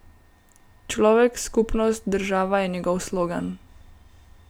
Človek, skupnost, država, je njegov slogan.